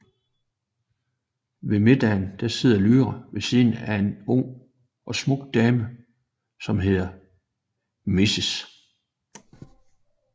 Ved middagen sidder Lyra ved siden af en ung og smuk dame som hedder Mrs